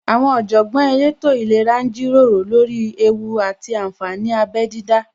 Àwọn Ọ̀jọ̀gbọ́n elétò ìlera ń jíròrò lórí ewú àti ànfàní abẹ dídá